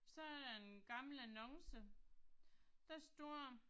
Så er der en gammel annonce. Der står